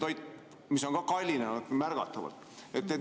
Toit on ka märgatavalt kallinenud.